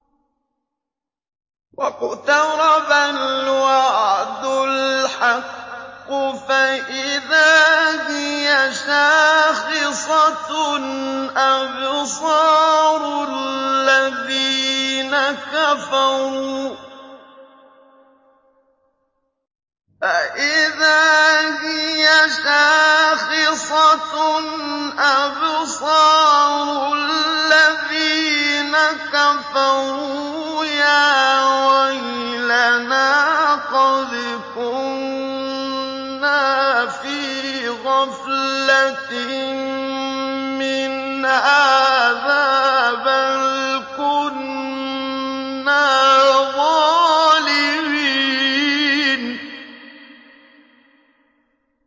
وَاقْتَرَبَ الْوَعْدُ الْحَقُّ فَإِذَا هِيَ شَاخِصَةٌ أَبْصَارُ الَّذِينَ كَفَرُوا يَا وَيْلَنَا قَدْ كُنَّا فِي غَفْلَةٍ مِّنْ هَٰذَا بَلْ كُنَّا ظَالِمِينَ